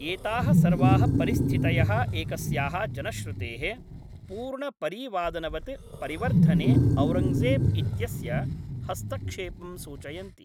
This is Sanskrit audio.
एताः सर्वाः परिस्थितयः एकस्याः जनश्रुतेः पूर्णपरीवादनवत् परिवर्धने औरङ्गजेब् इत्यस्य हस्पक्षेपं सूचयन्ति।